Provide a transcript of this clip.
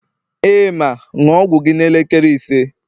ee, ma, ṅụọ ọgwụ gị n'elekere ise